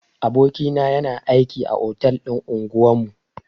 Aboki na yana aiki a otal din unguwan mu.